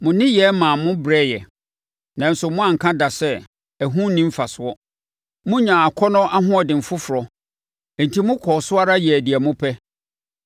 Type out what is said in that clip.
Mo nneyɛɛ maa mo brɛeɛ, nanso moanka da sɛ, ‘Ɛho nni mfasoɔ.’ Monyaa akɔnnɔ ahoɔden foforɔ, enti mokɔɔ so ara yɛɛ deɛ mopɛ.